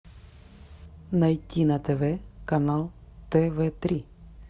найти на тв канал тв три